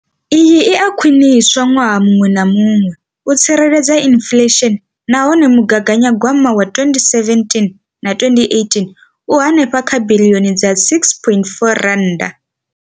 Iyi i a khwiniswa ṅwaha muṅwe na muṅwe u tsireledza inflesheni nahone mugaganyagwama wa 2017 na 2018 u henefha kha biḽioni dza R6.4.